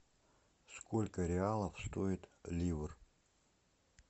сколько реалов стоит ливр